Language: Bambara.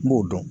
N b'o dɔn